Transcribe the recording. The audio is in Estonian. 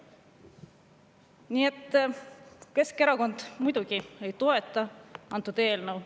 Nii et Keskerakond muidugi ei toeta antud eelnõu.